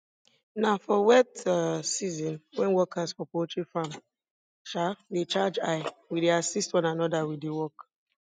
na for wet um season when workers for poultry farm um dey charge high we dey assist one another with the work